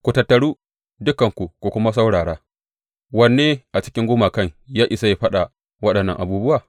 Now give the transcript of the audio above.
Ku tattaru, dukanku ku kuma saurara, Wanne a cikin gumakan ya iya faɗa waɗannan abubuwa?